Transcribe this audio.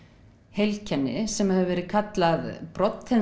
heilkenni sem hefur verið kallað